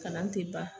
Kalan tɛ ban